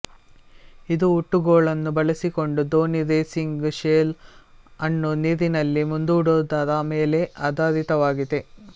ಇದು ಹುಟ್ಟುಗೋಲನ್ನು ಬಳಸಿಕೊಂಡು ದೋಣಿ ರೇಸಿಂಗ್ ಶೆಲ್ ಅನ್ನು ನೀರಿನಲ್ಲಿ ಮುಂದೂಡುವುದರ ಮೇಲೆ ಆಧಾರಿತವಾಗಿದೆ